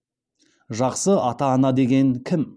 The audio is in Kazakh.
жақсы ата ана деген кім